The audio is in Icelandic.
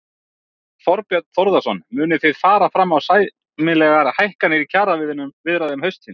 Þorbjörn Þórðarson: Munið þið fara fram á sambærilegar hækkanir í kjaraviðræðum haustsins?